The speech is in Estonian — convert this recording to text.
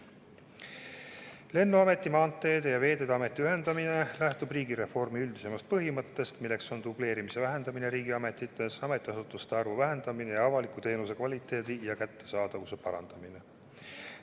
Lennuameti, Maanteeameti ja Veeteede Ameti ühendamine lähtub riigireformi üldisemast põhimõttest, milleks on dubleerimise vähendamine riigiametites, ametiasutuste arvu vähendamine ja avaliku teenuse kvaliteedi ja kättesaadavuse parandamine.